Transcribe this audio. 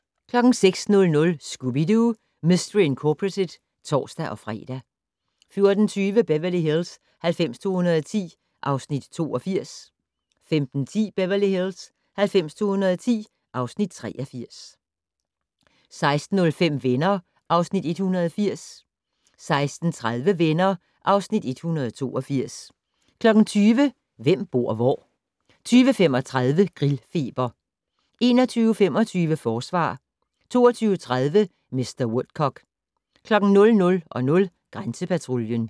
06:00: Scooby-Doo! Mystery Incorporated (tor-fre) 14:20: Beverly Hills 90210 (Afs. 82) 15:10: Beverly Hills 90210 (Afs. 83) 16:05: Venner (Afs. 180) 16:30: Venner (Afs. 182) 20:00: Hvem bor hvor? 20:35: Grillfeber 21:25: Forsvar 22:30: Mr. Woodcock 00:00: Grænsepatruljen